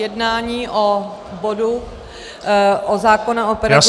Jednání o bodu o zákonu o pedagogických -